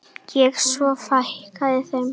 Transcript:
Og svo fækkaði þeim.